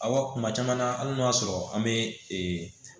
Awɔ kuma caman na hali n'o y'a sɔrɔ an bɛ ee